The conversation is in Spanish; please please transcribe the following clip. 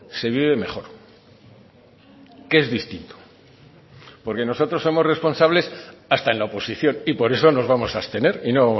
se vive mejor que es distinto porque nosotros somos responsables hasta en la oposición y por eso nos vamos a abstener y no